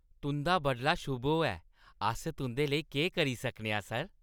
तुंʼदा बडला शुभ होऐ। अस तुंʼदे लेई केह् करी सकने आं, सर?